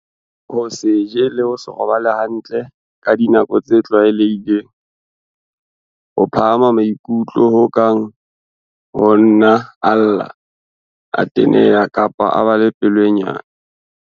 Ho se je le ho se robale hantle ka dinako tse tlwae lehileng. Ho phahama maikutlo ho kang ho nna a lla, a teneha kapa a ba pelo e nyane.